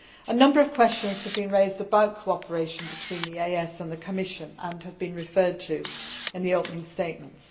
A number of questions have been raised about cooperation between the EEAS and the Commission and have been referred to in the opening statements.